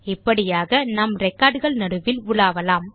இப்படியாக நாம் ரெக்கார்ட் கள் நடுவில் உலாவலாம்